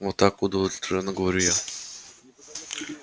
вот так удовлетворённо говорю я